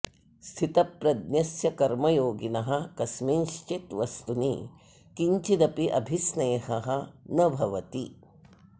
स्थितप्रज्ञस्य कर्मयोगिनः कस्मिँश्चित् वस्तुनि किञ्चिदपि अभिस्नेहः न भवति